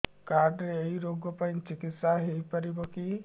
card ରେ ଏଇ ରୋଗ ପାଇଁ ଚିକିତ୍ସା ହେଇପାରିବ କି